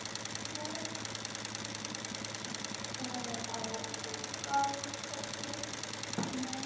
काय मग आता काय म्हणू शकते